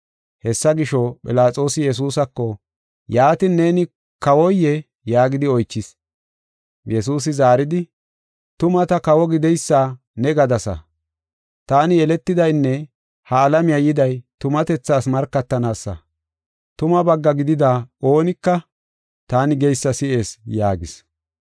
Hessa gisho, Philaxoosi Yesuusako, “Yaatin, neeni kawoyee?” yaagidi oychis. Yesuusi zaaridi, “Tuma ta kawo gideysa ne gadasa. Taani yeletidaynne ha alamiya yiday tumatethaas markatanaasa. Tumaa bagga gidida oonika taani geysa si7ees” yaagis.